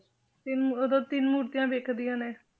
ਤਿੰਨ ਉਦੋਂ ਤਿੰਨ ਮੂਰਤੀਆਂ ਦਿਖਦੀਆਂ ਨੇ।